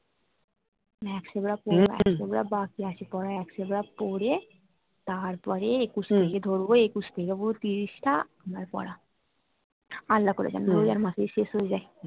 বাকি আছে পড়া পড়ে তারপর এ একুশের থেকে ধরবো একুশ থেকে পুরো তিরিশ টা আমার পড়া আল্লা করে কেন রোজার মাসেই শেষ হয়ে যায়